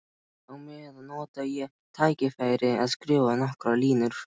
Á meðan nota ég tækifærið og skrifa nokkrar línur.